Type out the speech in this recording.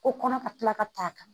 Ko kɔnɔ ka tila ka taa a ka